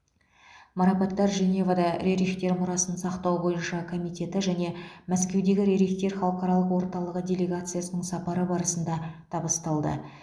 марапаттар женевада рерихтер мұрасын сақтау бойынша комитеті және мәскеудегі рерихтер халықаралық орталығы делегациясының сапары барысында табысталды